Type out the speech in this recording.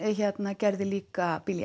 gerði líka